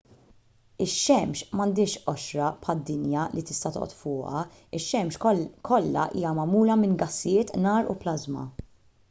ix-xemx m'għandhiex qoxra bħad-dinja li tista' toqgħod fuqha ix-xemx kollha hija magħmula minn gassijiet nar u plażma